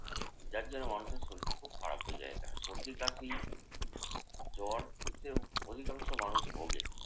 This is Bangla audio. যার জন্যে মানুষের শরীর খুব খারাপ হয়ে যায় এখানে। সর্দি-কাশি জ্বর দিয়ে অধিকাংশ মানুষ ভোগে।